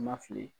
Ma fili